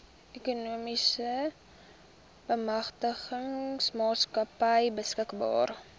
ekonomiese bemagtigingsmaatskappy beskikbaar